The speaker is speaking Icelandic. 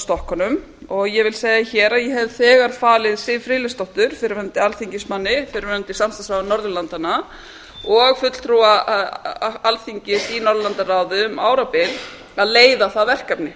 stokkunum og ég vil segja hér að ég hef þegar falið siv friðleifsdóttur fyrrverandi alþingismanni fyrrverandi samstarfsráðherra norðurlandanna og fulltrúa alþingis í norðurlandaráði um árabil að leiða það verkefni